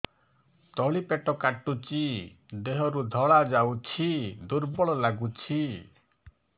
ତଳି ପେଟ କାଟୁଚି ଦେହରୁ ଧଳା ଯାଉଛି ଦୁର୍ବଳ ଲାଗୁଛି